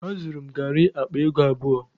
Azụrụ m garị akpa ego abụọ.